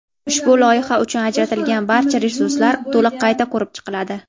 Ushbu loyiha uchun ajratilgan barcha resurslar to‘liq qayta ko‘rib chiqiladi.